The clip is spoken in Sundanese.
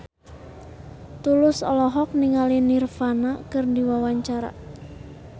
Tulus olohok ningali Nirvana keur diwawancara